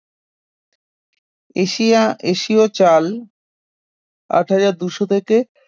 Asia এশীয় চাল আট হাজার দুইশ থেকে